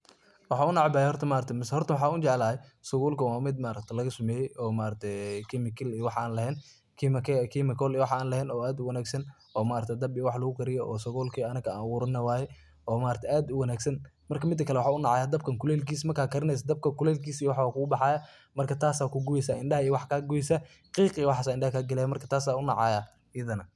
Waxa u neceebahay horta maaragtahay mise hoorta waxan u jeeclahay, sabuulka wa mid laga sameeye ee maaragtay chemical la wax AA laheen, oo aad u wanagsan oo maaragtay daab wax lagu kariyoh oo sabuulka anaga Ina abuuranoh waye oo maaragtay aad u wangsan marki midakali waxan u nacaya daab kulelkis marka karineysoh dabka kulelkisa kugubxaya marka taas Aya ku guubeysah indha iyo wax ka kaoysah qiq iyo waxkali Aya indhaa ka kaleysah marka taas Aya u nacaya ethanah.